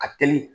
Ka teli